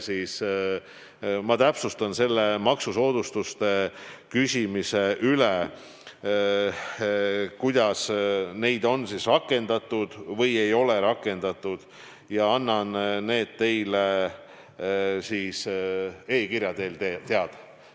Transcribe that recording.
Ma täpsustan selle maksusoodustuste küsimuse üle, kuidas neid on või ei ole rakendatud, ja annan teile siis e-kirja teel teada.